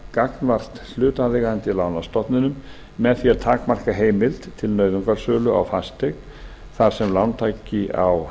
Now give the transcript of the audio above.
gagnvart hlutaðeigandi lánastofnunum með því að takmarka heimild til nauðungarsölu á fasteign þar sem lántaki á